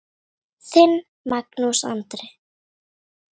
Þinn, Magnús Andri.